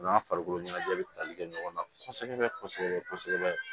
U n'a farikolo ɲɛnajɛ bɛ tali kɛ ɲɔgɔn na kosɛbɛ kosɛbɛ